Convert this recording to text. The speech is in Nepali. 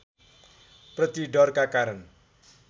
प्रति डरका कारण